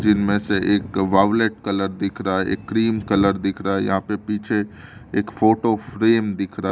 इसमें से एक वायलेट कलर दिख रहा है एक क्रीम कलर दिख रहा है यहाँ पे पीछे एक फोटो फ्रेम दिख रहा--